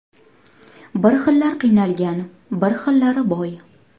Bir xillar qiynalgan, bir xillari boy.